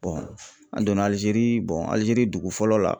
an donna Alizeri Alizeri dugu fɔlɔ la.